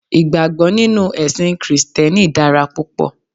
Ìgbàgbó nínú èsìn krìsténi dára púpò